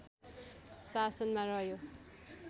शासनमा रह्यो